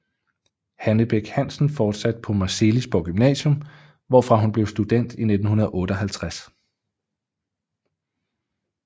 Hanne Bech Hansen fortsatte på Marselisborg Gymnasium hvorfra hun blev student i 1958